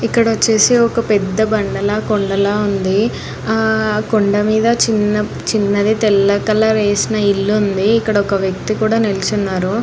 ఇక్కడ వచ్చేసి ఒక పెద్ద బాండ ల కొండా ల ఉంది ఆహ్ కొండా మీద చిన్నది తెల్ల కలర్ వేసిన ఇల్లు ఉంది ఇక్కడ ఒక వ్యక్తి నిలుచొని ఉన్నాడు.